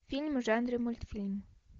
фильм в жанре мультфильм